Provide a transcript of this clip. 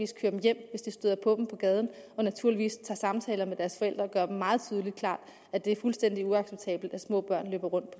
kører dem hjem hvis de støder på gaden og naturligvis tager samtaler med deres forældre og gør dem meget klart at det er fuldstændig uacceptabelt at små børn løber rundt